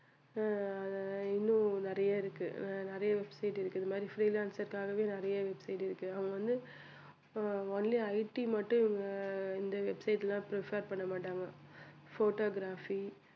ஆஹ் இன்னும் நிறைய இருக்கு நிறைய website இருக்கு இது மாதிரி freelancer க்காகவே நிறைய website இருக்கு அவங்க வந்து only IT மட்டும் இந்த website ல prefer பண்ண மாட்டாங்க photography